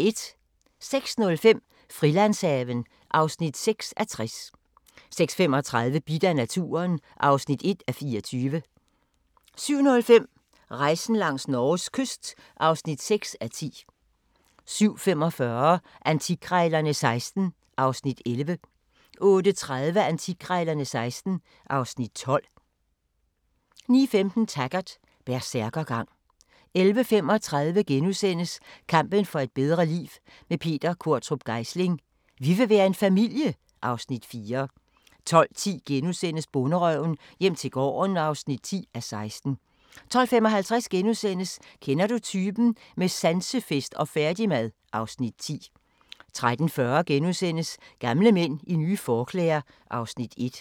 06:05: Frilandshaven (6:60) 06:35: Bidt af naturen (1:24) 07:05: Rejsen langs Norges kyst (6:10) 07:45: Antikkrejlerne XVI (Afs. 11) 08:30: Antikkrejlerne XVI (Afs. 12) 09:15: Taggart: Bersærkergang 11:35: Kampen for et bedre liv – med Peter Qvortrup Geisling: Vi vil være en familie (Afs. 4)* 12:10: Bonderøven - hjem til gården (10:16)* 12:55: Kender du typen? – med sansefest og færdigmad (Afs. 10)* 13:40: Gamle mænd i nye forklæder (Afs. 1)*